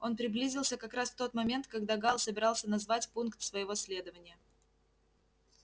он приблизился как раз в тот момент когда гаал собирался назвать пункт своего следования